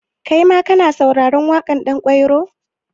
Kaima ka na sauraren waƙar Ɗanƙwairo?